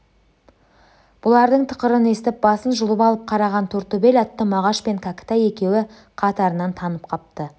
бұлардың тықырын естіп басын жұлып алып қараған тортөбел атты мағаш пен кәкітай екеуі қатарынан танып қапты